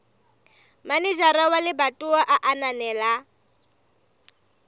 manejara wa lebatowa a ananela